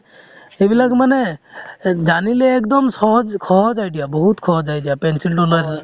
সেইবিলাক মানে জানিলে একদম চহজ~ সহজ idea বহুত সহজ idea pencil তো লৈ